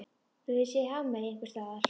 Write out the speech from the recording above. Þú hefur séð hafmeyju einhvers staðar?